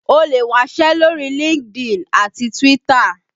O lè wásẹ́ lórí LinkedIn àti Twitter